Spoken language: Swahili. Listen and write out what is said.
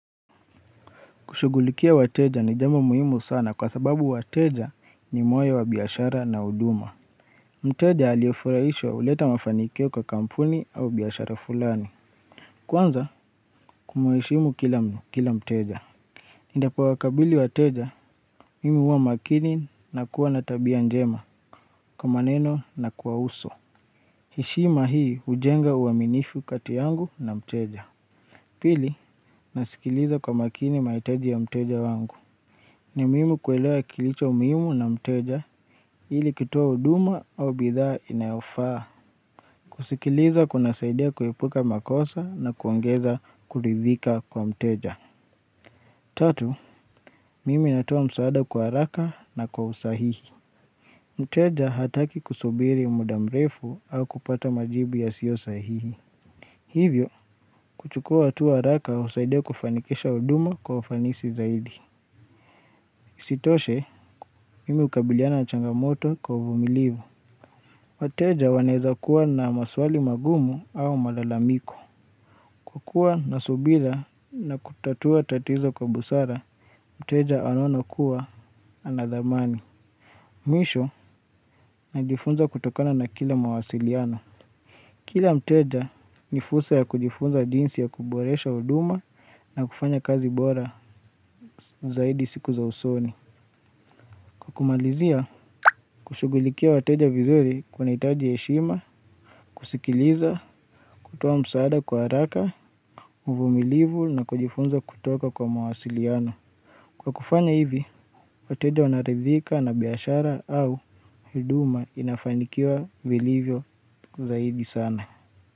Kushugulikia wateja ni jambo muhimu sana kwa sababu wateja ni moyo wa biyashara na uduma. Mteja aliofuraishwa uleta mafanikio kwa kampuni au biyashara fulani. Kwanza kumuheshimu kila mteja. Indapo wakabili wateja, mimi uwa makini na kuwa natabia njema kwa maneno na kuwa uso. Heshima hii ujenga uwa minifu kati yangu na mteja. Pili, nasikiliza kwa makini maitaji ya mteja wangu. Ni muimu kuelewa kilicho muimu na mteja ili kitoa uduma au bidhaa inayofaa. Kusikiliza kuna saidia kuepuka makosa na kuongeza kulidhika kwa mteja. Tatu, mimi natoa msaada kwa haraka na kwa usahihi. Mteja hataki kusubiri muda mrefu au kupata majibu yasio sahihi. Hivyo, kuchukua atua raka usaidia kufanikesha uduma kwa ufanisi zaidi. Isitoshe mimi ukabiliana na changamoto kwa uvumilivu. Wateja waneza kuwa na maswali magumu au malalamiko. Kukua nasubira na kutatua tatizo kwa busara. Mteja anaona kuwa anadhamani. Mwisho na jifunza kutokana na kila mawasiliano. Kila mteja ni fursa ya kujifunza jinsi ya kuboresha uduma. Na kufanya kazi bora zaidi siku za usoni. Kwa kumalizia, kushugulikia wateja vizuri kuna itaji eshima, kusikiliza, kutoa msaada kwa haraka, uvumilivu na kujifunza kutoka kwa mawasiliano. Kwa kufanya hivi wateja wanaridhika na biyashara au huduma inafanikiwa vilivyo zaidi sana.